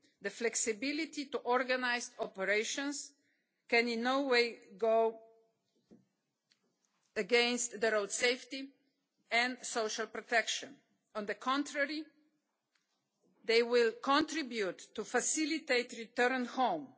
The flexibility to organise operations can in no way go against road safety and social protection. On the contrary, they will contribute to facilitating returns home.